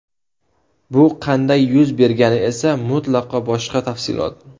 Bu qanday yuz bergani esa mutlaqo boshqa tafsilot.